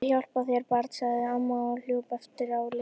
Guð hjálpi þér barn! sagði amma og hljóp á eftir Lillu.